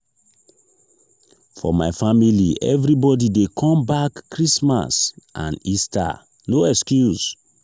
for my family everbodi dey come back christmas and easter no excuse.